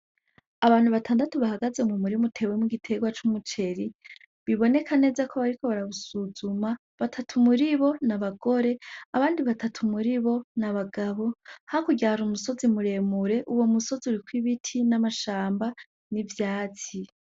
Abantu batandatu bahagaze mu murima utewemwo igitegwa c'umuceri, biboneka neza ko bariko barawusuzama ,batatu muribo ni abagore ,abandi batatu muribo ni abagabo ,hakurya hari umusozi muremure uwo musozi uriko ibiti n' amashamba n' ivyatsi.